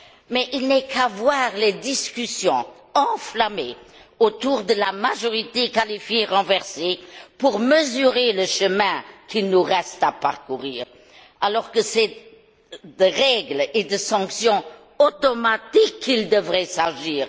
Cependant, il n'y a qu'à voir les discussions enflammées autour de la majorité qualifiée renversée pour mesurer le chemin qu'il nous reste à parcourir alors que c'est de règles et de sanctions automatiques qu'il devrait s'agir.